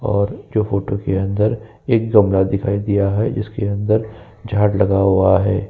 और जो फोटो के अंदर एक कमरा दिखाई दिया है जिसके अंदर झाड़ लगा हुआ है।